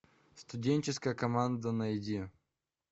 студенческая команда найди